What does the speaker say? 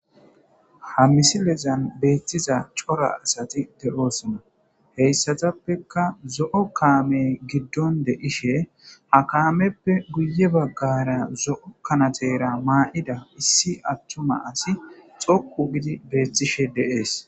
Ha misilezan beettiza cora asati de'osona. Heyssatappeka zo'o kaame giddon de'ishe ha kaameppe guye baggara zo'o kanatera ma'ida issi attuma asi xoqqu giidi beettishe de'es.